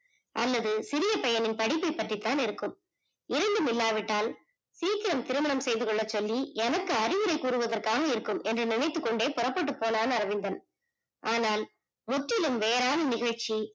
அல்லது சிறிய பையனின் படிப்பு பற்றி தான் இருக்கும் இரண்டும் இல்லாவிட்டால் சிக்கிரம் திருமணம் செய்து கொள்ள சொல்லி எனக்கு அறியுரை கூறுவதற்காக இருக்கும் என்று நினைத்து கொண்டே புறப்பட்டு போனான் அரவிந்தன் ஆனால் முற்றிலும் வேறான நிகழ்ச்சி